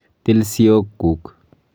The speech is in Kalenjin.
Til siok kuk.